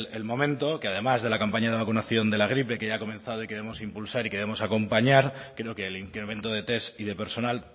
el momento que además de la campaña de vacunación de la gripe que ya ha comenzado y queremos impulsar y queremos acompañar creo que el incremento de test y de personal